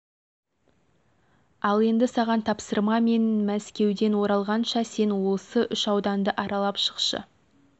ал енді саған тапсырма мен мәскеуден оралғанша сен осы үш ауданды аралап шықшы